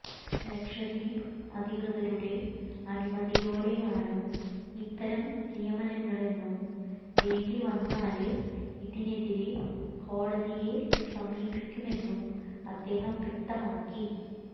ലക്ഷദ്വീപ് അധികൃതരുടെ അനുമതിയോടെയാണ് ഇത്തരം നിയമനങ്ങളെന്നും വേണ്ടിവന്നാല് ഇതിനെതിരെ കോടതിയെ സമീപിക്കുമെന്നും അദ്ദേഹം വ്യക്തമാക്കി